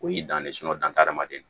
O y'i dan ye danni na